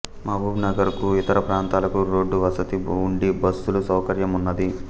మహబూబ్ నగర్ కు ఇతర ప్రాంతాలకు రోడ్డు వసతి వుండి బస్సుల సౌకర్యమున్నది